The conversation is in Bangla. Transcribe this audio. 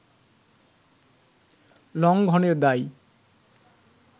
লঙ্ঘনের দায়